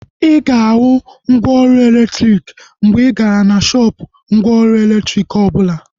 Ịga ahu mgwooru elektriki mgbe igara na shoopu mgwooru elektriki obula